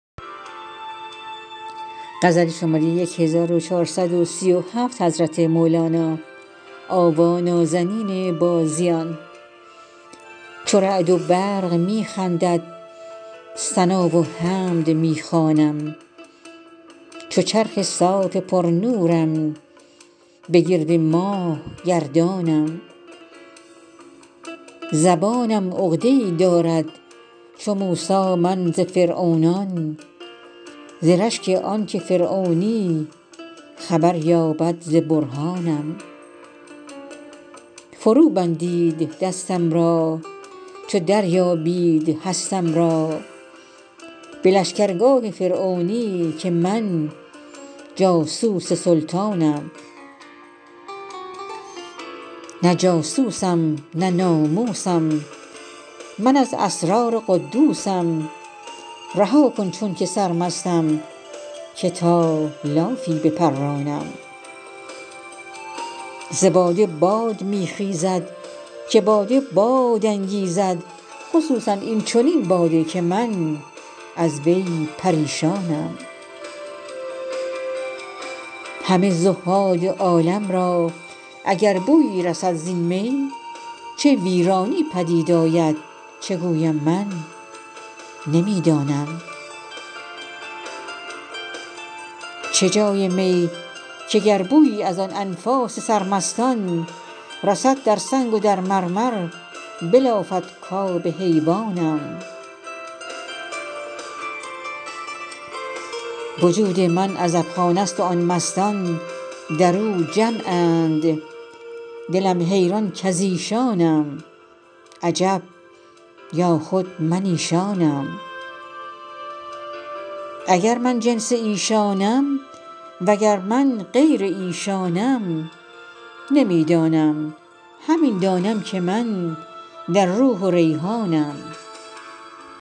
چو رعد و برق می خندد ثنا و حمد می خوانم چو چرخ صاف پرنورم به گرد ماه گردانم زبانم عقده ای دارد چو موسی من ز فرعونان ز رشک آنک فرعونی خبر یابد ز برهانم فروبندید دستم را چو دریابید هستم را به لشکرگاه فرعونی که من جاسوس سلطانم نه جاسوسم نه ناموسم من از اسرار قدوسم رها کن چونک سرمستم که تا لافی بپرانم ز باده باد می خیزد که باده باد انگیزد خصوصا این چنین باده که من از وی پریشانم همه زهاد عالم را اگر بویی رسد زین می چه ویرانی پدید آید چه گویم من نمی دانم چه جای می که گر بویی از آن انفاس سرمستان رسد در سنگ و در مرمر بلافد کآب حیوانم وجود من عزبخانه ست و آن مستان در او جمعند دلم حیران کز ایشانم عجب یا خود من ایشانم اگر من جنس ایشانم وگر من غیر ایشانم نمی دانم همین دانم که من در روح و ریحانم